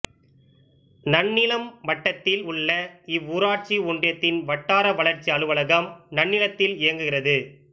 நன்னிலம் வட்டத்தில் உள்ள இவ்வூராட்சி ஒன்றியத்தின் வட்டார வளர்ச்சி அலுவலகம் நன்னிலத்தில் இயங்குகிறது